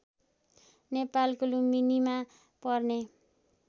नेपालको लुम्बिनीमा पर्ने